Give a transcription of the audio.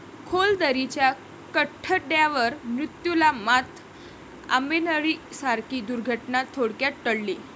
खोल दरीच्या कठड्यावर मृत्यूला मात, 'आंबेनळी' सारखी दुर्घटना थोडक्यात टळली!